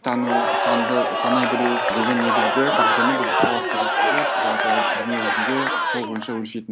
тану санды санай білу деген негізгі дағдыны біз сауатқа жатқызып жалпы дүниежүзінде сол бойынша өлшейтін